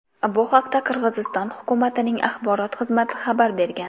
Bu haqda Qirg‘iziston hukumatining axborot xizmati xabar bergan .